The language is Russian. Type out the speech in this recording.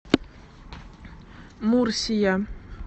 мурсия